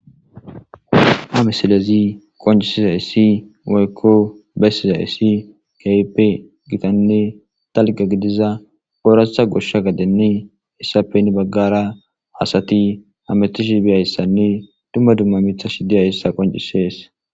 Ha misilezi qoncisiza issi woykko bessiza issi kaype gitanne talqa gidiza ooratha goshsha gadenne hessappeni baggara hasati hametishi biyayssanne dumma dumma mitha shi diyayissa qoncisees.